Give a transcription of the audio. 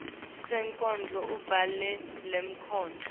sonkondlo ubhale lenkondlo